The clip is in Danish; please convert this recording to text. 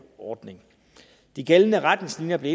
ordning de gældende retningslinjer blev